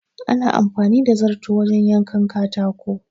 Ana anfani da zarto wajen yankan katako.